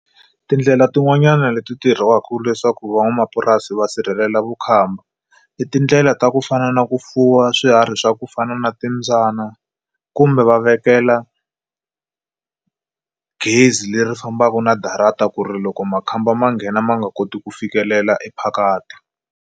Tindlela tin'wanyani leti tirhiwaku leswaku van'wamapurasi va sirhelela vukhamba i tindlela ta ku fana na ku fuwa swiharhi swa ku fana na timbyana kumbe va vekela gezi leri fambaku na darata ku ri loko makhamba ma nghena ma nga koti ku fikelela e phakathi.